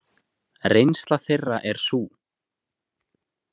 Reynsla þeirra er sú.